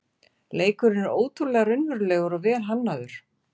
Leikurinn er ótrúlega raunverulegur og vel hannaður